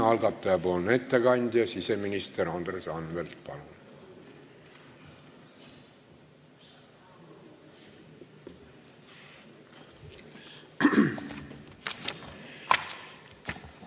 Algataja ettekandja siseminister Andres Anvelt, palun!